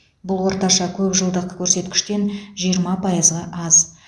бұл орташа көп жылдық көрсеткіштен жиырма пайызға аз